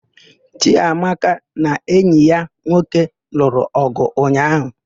Chiamaka na enyi ya nwoke lụrụ ọgụ ụnyaahụ.